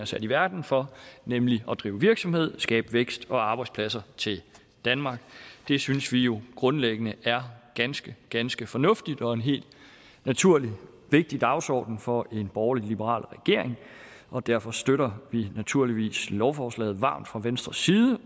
sat i verden for nemlig at drive virksomhed og skabe vækst og arbejdspladser til danmark det synes vi jo grundlæggende er ganske ganske fornuftigt og en helt naturlig og vigtig dagsorden for en borgerlig liberal regering og derfor støtter vi naturligvis lovforslaget varmt fra venstres side